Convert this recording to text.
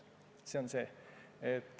See on see.